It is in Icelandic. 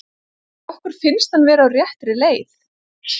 Okkur finnst hann vera á réttri leið.